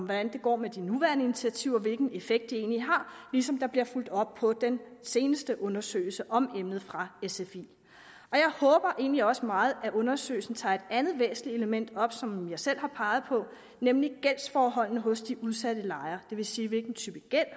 hvordan det går med de nuværende initiativer hvilken effekt de egentlig har ligesom der bliver fulgt op på den seneste undersøgelse om emnet fra sfi jeg håber egentlig også meget at undersøgelsen tager et andet væsentligt element op som jeg selv har peget på nemlig gældsforholdene hos de udsatte lejere det vil sige hvilken type gæld